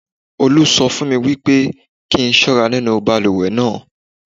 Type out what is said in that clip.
Olú sọ fún mi wípé kí n ṣọ́ra nínú balùwẹ̀ náà.